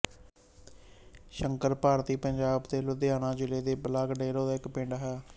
ਸ਼ੰਕਰ ਭਾਰਤੀ ਪੰਜਾਬ ਦੇ ਲੁਧਿਆਣਾ ਜ਼ਿਲ੍ਹੇ ਦੇ ਬਲਾਕ ਡੇਹਲੋਂ ਦਾ ਇੱਕ ਪਿੰਡ ਹੈ